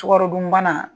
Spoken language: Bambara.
Sukaro dunbana